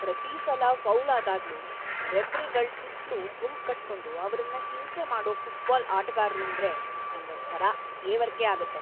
ಪ್ರತೀ ಸಲ ಫೌಲ್ ಆದಾಗ್ಲೂ ರೆಫರಿಗಳ್ ಸುತ್ಲೂ ಗುಂಪ್‌ಕಟ್ಕೊಂಡು ಅವ್ರನ್ನ‌ ಹಿಂಸೆ ಮಾಡೋ ಫುಟ್ಬಾಲ್ ಆಟಗಾರ್ರೂಂದ್ರೆ ನಂಗೊಂಥರ ಹೇವರ್ಕೆ ಆಗತ್ತೆ.